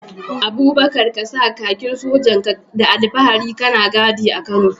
Abubakar ka sa kakin sojan ka da alfahari kana gadi a Kano.